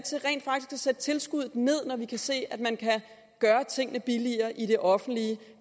sætte tilskuddet ned når vi kan se at man kan gøre tingene billigere i det offentlige